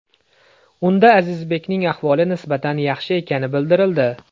Unda Azizbekning ahvoli nisbatan yaxshi ekani bildirildi.